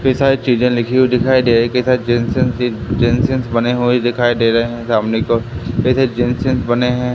कई सारी चीजे लिखी हुई दिखाई दे रही है कई सारी बने हुए दिखाई दे रहे है सामने की ओर बने हैं।